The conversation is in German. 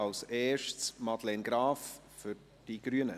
zuerst Madeleine Graf für die Grünen.